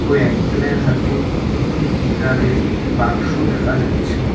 ও একজনের হাতে একটি গিটার -এর বাক্স দেখা যাচ্ছে।